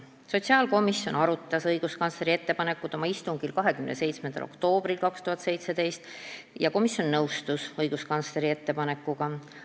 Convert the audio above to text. Sotsiaalkomisjon arutas õiguskantsleri ettepanekut oma istungil 27. oktoobril 2017 ja komisjon nõustus selle ettepanekuga.